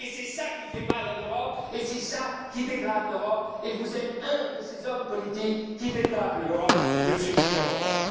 et c'est ça qui fait mal à l'Europe et c'est ça qui dégrade l'Europe, et vous êtes un de ces hommes politiques qui dégradent l'Europe, Monsieur Viktor Orbán.